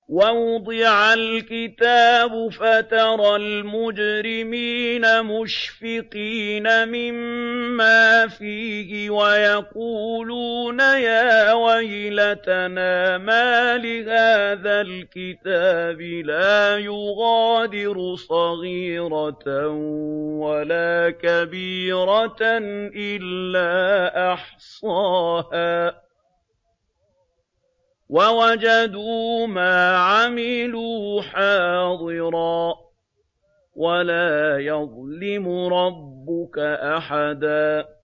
وَوُضِعَ الْكِتَابُ فَتَرَى الْمُجْرِمِينَ مُشْفِقِينَ مِمَّا فِيهِ وَيَقُولُونَ يَا وَيْلَتَنَا مَالِ هَٰذَا الْكِتَابِ لَا يُغَادِرُ صَغِيرَةً وَلَا كَبِيرَةً إِلَّا أَحْصَاهَا ۚ وَوَجَدُوا مَا عَمِلُوا حَاضِرًا ۗ وَلَا يَظْلِمُ رَبُّكَ أَحَدًا